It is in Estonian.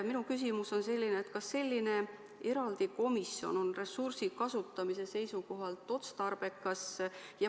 Minu küsimus on, kas selline eraldi komisjon on ressursi kasutamise seisukohalt otstarbekas.